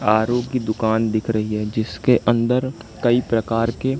R O की दुकान दिख रही है जिसके अंदर कई प्रकार के--